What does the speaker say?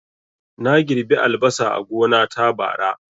Na girɓi albasa a gona ta, bara